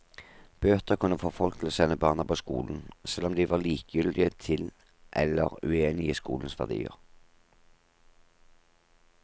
Bøter kunne få folk til å sende barna på skolen, selv om de var likegyldige til eller uenige i skolens verdier.